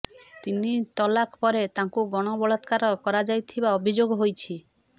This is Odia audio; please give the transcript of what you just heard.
ତିନି ତଲାକ ପରେ ତାଙ୍କୁ ଗଣବଳାତ୍କାର କରାଯାଇଥିବା ଅଭିଯୋଗ ହୋଇଛି